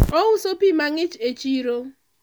ouso pi mang'ich e chiro